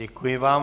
Děkuji vám.